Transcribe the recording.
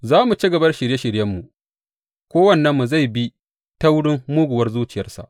Za mu ci gaba da shirye shiryenmu; kowannenmu zai bi taurin muguwar zuciyarsa.’